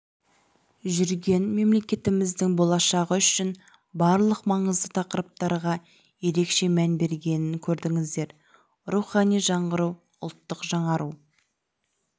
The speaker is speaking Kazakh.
жүрген мемелекетіміздің болашағы үшін барлық маңызды тақырыптарға ерекше мән бергенін көрдіңіздер рухани жаңғыру ұлттық жаңару